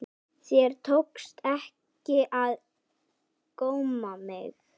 Þér tókst ekki að góma mig.